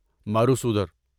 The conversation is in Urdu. مروسودر